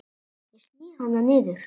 Ég sný hana niður.